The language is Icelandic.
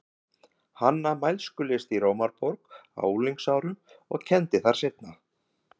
Hann nam mælskulist í Rómaborg á unglingsárum og kenndi þar seinna.